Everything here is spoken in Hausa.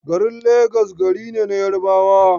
Garin Legas gari ne na Yarabawa.